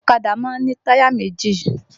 Ọ̀kadà má ń ní táyà méjì